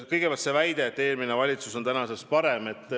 Kõigepealt see väide, et eelmine valitsus oli tänasest parem.